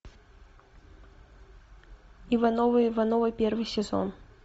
ивановы ивановы первый сезон